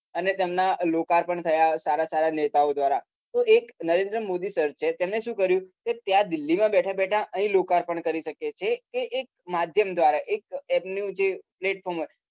અને તમના લોકાપર્ણ થયા સારા સારા નેતાઓ દ્રારા તો એક નરેન્દ્ર મોદી sir છે તેમને શું કર્યું ત્યાં દિલ્હી માં બેઠા બેઠા અહી લોકાપર્ણ કરી શકે છે તે એક માધ્યમ દ્રારા એમનું એક paltform